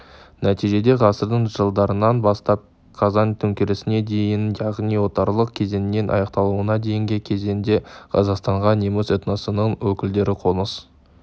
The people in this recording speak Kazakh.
нәтижеде ғасырдың жылдарынан бастап қазан төңкерісіне дейін яғни отарлық кезеңінің аяқталуына дейінгі кезеңде қазақстанға неміс этносының өкілдері қоныс